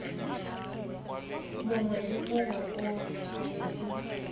mongwe le mongwe o tshwanetse